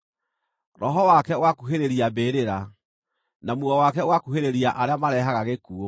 Roho wake ũgakuhĩrĩria mbĩrĩra, na muoyo wake ũgakuhĩrĩria arĩa mareehage gĩkuũ.